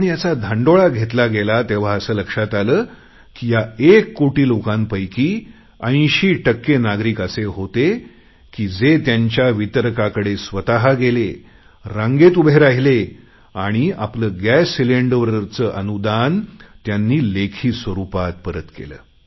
पण याचा धांडोळा घेतला गेला तेव्हा असे लक्षात आले की या एक कोटी लोकांपैकी 80 टक्के नागरिक असे होते की जे त्यांच्या वितरकाकडे स्वत गेले रांगेत उभे राहीले आणि आपले गॅस सिलेंडरवरचे अनुदान त्यांनी लेखी स्वरुपात परत केले